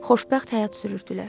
Xoşbəxt həyat sürürdülər.